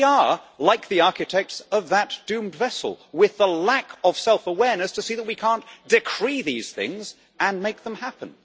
We are like the architects of that doomed vessel, with the lack of self awareness to see that we cannot decree these things and make them happen.